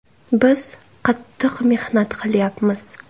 Biz qattiq mehnat qilyapmiz.